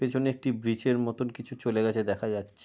পিছনে একটি ব্রিজের মতন কিছু চলে গেছে দেখা যাচ্ছে।